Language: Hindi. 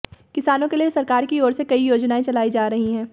किसानों के लिए सरकार की ओर से कई योजनाएं चलाई जा रही हैं